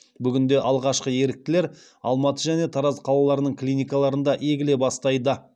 бүгінде алғашқы еріктілер алматы және тараз қалаларының клиникаларында егіле бастайды